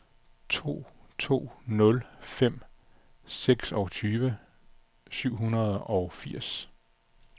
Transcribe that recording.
to to nul fem seksogtyve syv hundrede og fireogfirs